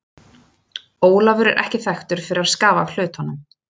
Ólafur er ekki þekktur fyrir að skafa af hlutunum.